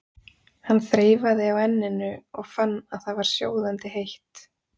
Hann þreifaði á enninu og fann að það var sjóðandi heitt.